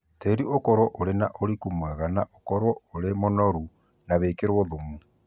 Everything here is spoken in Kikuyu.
tĩĩrĩ ũkorũo ũrĩ na ũrĩkũ mwega na ũkorũo ũrĩ mũnorũ na wĩkĩrũo thũmũ